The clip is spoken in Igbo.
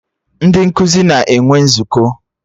Ndị nkụzi na-enwe nzukọ